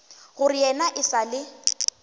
gore yena e sa le